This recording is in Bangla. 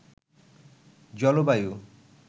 জলবায়ু